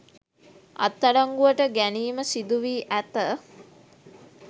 අත්අඩංගුවට ගැනීම සිදුවී ඇත.